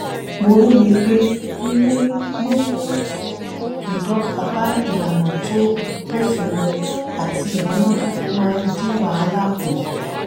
mo róye pé mímú ìdọ́gba bá ìlànà tó bófin mu àti ìmúnádóko máa ń dín wàhálà kù